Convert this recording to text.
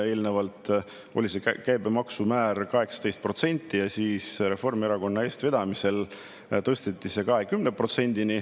Eelnevalt oli käibemaksumäär 18% ja siis Reformierakonna eestvedamisel tõsteti see 20%‑ni.